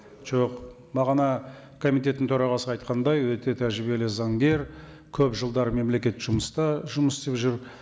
жоқ бағана комитеттің төрағасы айтқандай өте тәжірибелі заңгер көп жылдар мемлекеттік жұмыста жұмыс істеп жүр